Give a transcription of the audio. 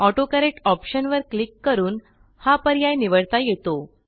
autocorrect ऑप्शनवर click करून हा पर्याय निवडता येतो